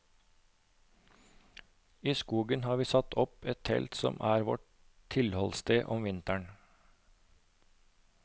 I skogen har vi satt opp et telt som er vårt tilholdssted om vinteren.